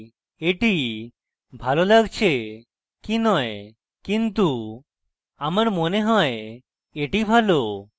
এটি ভালো লাগছে কি নয় কিন্তু আমার মনে হয় এটি ভালো